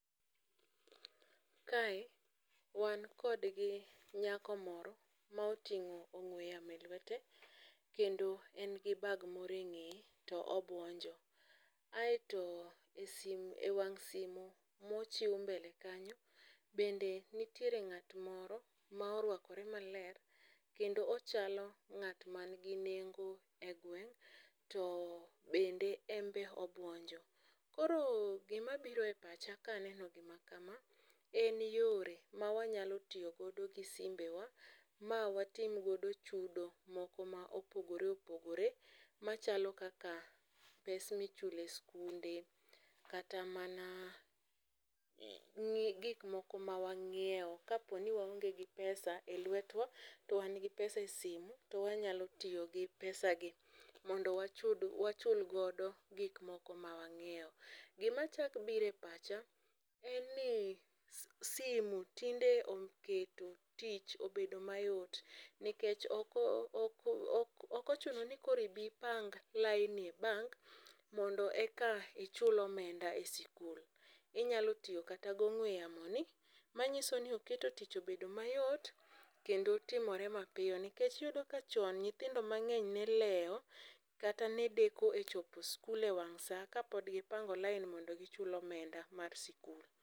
Kae wan kod nyako moro m a oting'o ong'ue yamo e lwete kendo en gi bag moro eng'eye to obuonjo. Aeto esim ewang# simu mochiw mbele kanyo nitiere ng'at moro moruakore maler kendo ochalo ng'at man gi nengo kendo obuonjo. Koro gima biro e pacha kaneno gima kama en yore mawanyalo tiyo godo gi simbewa ma watim godo chudo moko ma opogore opogore machalo kaka pes michulo e sikunde. Kata mana ng'i gik moko ma wang'iewo ka poni wao nge gi 5cs]pesa elwetwa to wan gi pesa e sime to wanyalo tiyo gi pesa gi mondo wachul godo gik ma wang'iewo. Gima chako biro e pacha en ni sme tinde ochako keto tich obedo mayot nikech ok ochuno ni koro ibi ipang laini e bank mondo eka ichul omenda e sikul. Inyalo tiyo kata gi ong'ue yamoni manyiso ni oketo tich obedo mayot kendo timore ma piyo nikech iyudo ka chon nyithindo mang'eny ne lewo kata ne deko e chopo e sikul ewang' saa kapod gipango lain mondo gichul omenda mar sikul.